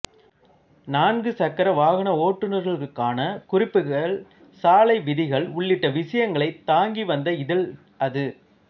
நான்கு சக்கர வாகன ஓட்டுநர்களுக்கான குறிப்புகள் சாலை விதிகள் உள்ளிட்ட விஷயங்களைத் தாங்கிவந்த இதழ் அது